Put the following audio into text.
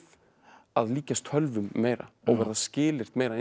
að líkjast tölvum meira og verða skilyrt meira eins